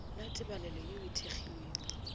la tebalelo ye e kgethegilego